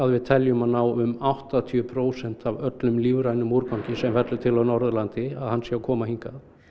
við teljum að ná um áttatíu prósentum af öllum lífrænum úrgangi sem fellur til á Norðurlandi að hann sé að koma hingað